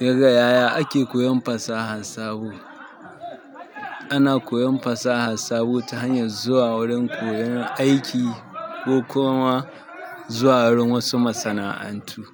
Daga yaya ake koyon fasahan sabo. Ana koyon fasaha sabo ta hanyar zuwa wurin koyon aiki ko kuma zuwa wurin wasu masana'antu